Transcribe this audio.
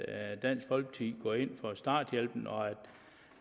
at dansk folkeparti går ind for starthjælpen og at